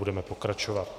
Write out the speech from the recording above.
Budeme pokračovat.